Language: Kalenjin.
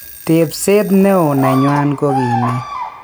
tepset neo neywan koki nee?